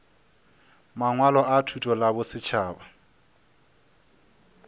mangwalo a thuto la bosetšhaba